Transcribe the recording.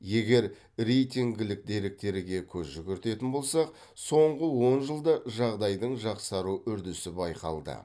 егер рейтингілік деректерге көз жүгіртетін болсақ соңғы он жылда жағдайдың жақсару үрдісі байқалды